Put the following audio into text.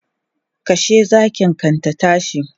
Kashe zakin kan ta tashi!